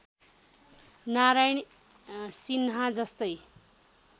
नारायण सिन्हा जस्तै